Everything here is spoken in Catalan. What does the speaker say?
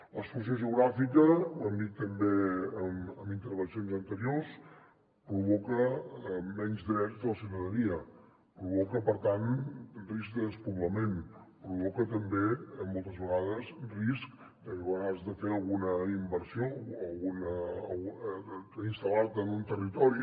l’exclusió geogràfica ho han dit també en intervencions anteriors provoca menys drets de la ciutadania provoca per tant risc de despoblament provoca també moltes vegades risc de que quan has de fer alguna inversió o instal·lar te en un territori